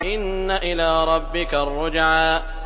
إِنَّ إِلَىٰ رَبِّكَ الرُّجْعَىٰ